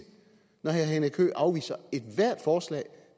når herre henrik høegh afviser ethvert forslag